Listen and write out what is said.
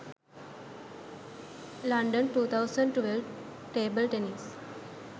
london 2012 table tennis